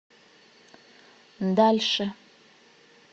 дальше